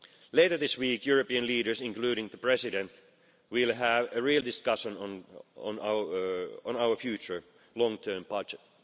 Later this week, European leaders, including the President, will have a real discussion on our future long term budget.